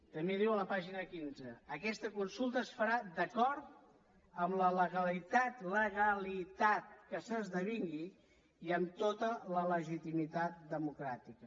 també diu a la pàgina quinze aquesta consulta es farà d’acord amb la legalitat legalitat que s’esdevingui i amb tota la legitimitat democràtica